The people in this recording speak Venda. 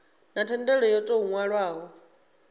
na thendelo yo tou nwalwaho